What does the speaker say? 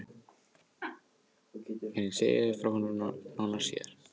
En ég segi þér nánar frá honum síðar.